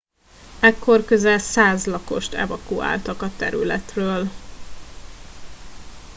ekkor közel 100 lakost evakuáltak a területről